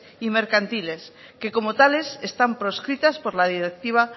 y mercantiles que como tales están proscritas por la directiva